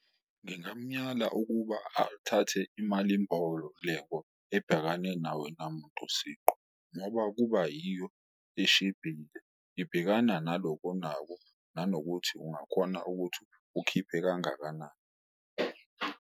Ngingamuyala ukuba athathe imalimboleko ebhekane nawe namuntu siqu ngoba kuba yiyo eshibhile, ibhekana naloko onako nanokuthi ungakhona ukuthi ukhiphe kangakanani.